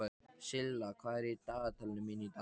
Silla, hvað er í dagatalinu mínu í dag?